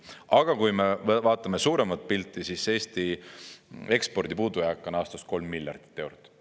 Aga kui me vaatame suuremat pilti, siis Eesti ekspordi puudujääk on aastas 3 miljardit eurot.